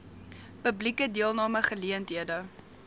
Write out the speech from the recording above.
publieke deelname geleenthede